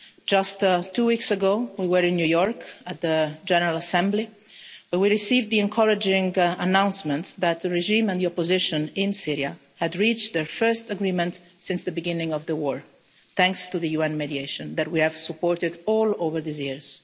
Just two weeks ago we were in New York at the General Assembly, where we received the encouraging announcement that the regime and the opposition in Syria had reached their first agreement since the beginning of the war, thanks to the UN mediation that we have supported over all these years.